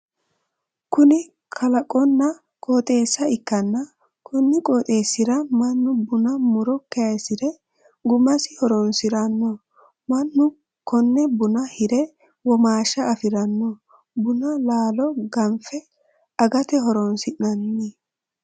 Kunni kalaqonna qooxeessa ikanna konni qooxeesira manni bunnu muro kayisire gumasi horoonsirano. Manu konne bunna hire womaasha afirano. Bunnu laalo ganfe agate horoonsi'nanni.